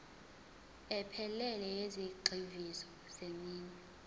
ephelele yezigxivizo zeminwe